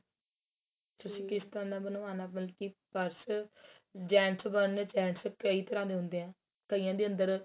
ਕਿਸ ਤਰਾਂ ਦਾ ਬਨਵਾਨਾ ਬਲਕੀ purse gents ਬਣਨੇ ਏ gents ਕਈ ਤਰਾਂ ਦੇ ਹੰਦੇ ਏ ਕਈਆਂ ਦੇ ਅੰਦਰ